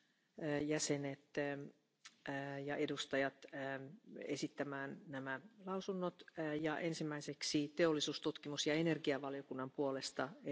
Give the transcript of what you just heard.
So viele Kranke, lebenslang Behinderte, Tote verursacht durch diese Keime. Dringend bräuchten wir neue Antibiotika. Aber die sind nicht verfügbar, und die Entwicklung ist teuer und dauert lange bis zu zwanzig Jahre, wenn es überhaupt gelingt.